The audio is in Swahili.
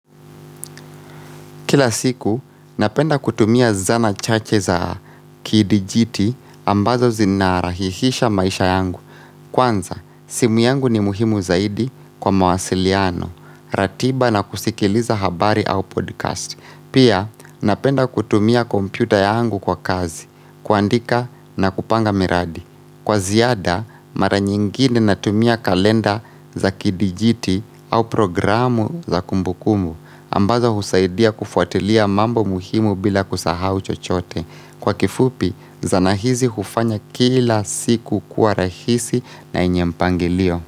Kila siku, napenda kutumia zana chache za kidijiti ambazo zinarahihisha maisha yangu. Kwanza, simu yangu ni muhimu zaidi kwa mawasiliano, ratiba na kusikiliza habari au podcast. Pia, napenda kutumia kompyuta yangu kwa kazi, kuandika na kupanga miradi. Kwa ziada mara nyingine natumia kalenda za kidijiti au programu za kumbukumbu ambazo husaidia kufuatilia mambo muhimu bila kusahau chochote. Kwa kifupi zana hizi hufanya kila siku kuwa rahisi na yenye mpangilio.